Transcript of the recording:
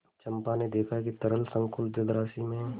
चंपा ने देखा कि तरल संकुल जलराशि में